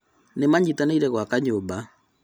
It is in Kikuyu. Nĩmanyitanĩire gwaka nyũmba